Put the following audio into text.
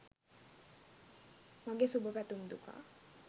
මගෙ සුබපැතුම් දුකා.